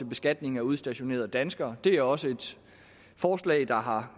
beskatning af udstationerede danskere det er også et forslag der har